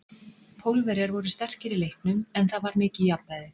Pólverjar voru sterkir í leiknum, en það var mikið jafnræði.